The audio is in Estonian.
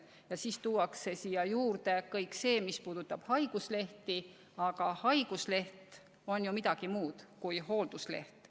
" Ja siis tuuakse siia juurde kõik see, mis puudutab haiguslehti, aga haigusleht on ju midagi muud kui hooldusleht.